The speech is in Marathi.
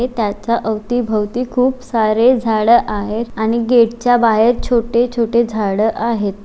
हे त्याच्या औती भौती हूप सारे झाडे आहेत आणि गेट च्या बहेर छोटे छोटे झाड आहेत.